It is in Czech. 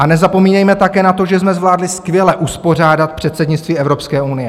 A nezapomínejme také na to, že jsme zvládli skvěle uspořádat předsednictví Evropské unie.